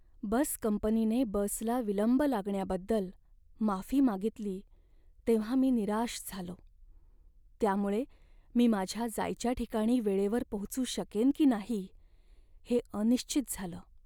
बस कंपनीने बसला विलंब लागण्याबद्दल माफी मागितली तेव्हा मी निराश झालो, त्यामुळे मी माझ्या जायच्या ठिकाणी वेळेवर पोहोचू शकेन की नाही हे अनिश्चित झालं.